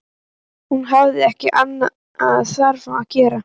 Hún hafði ekki annað þarfara að gera.